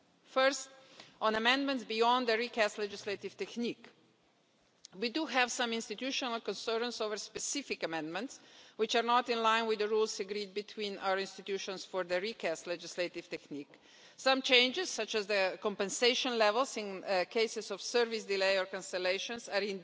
First, on amendments beyond the recast legislative technique we do have some institutional concerns over specific amendments which are not in line with the rules agreed between our institutions for the recast legislative technique. Some changes, such as the compensation levels in cases of service delay or cancellations, are